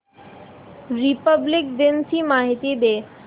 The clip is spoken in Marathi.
रिपब्लिक दिन ची माहिती दे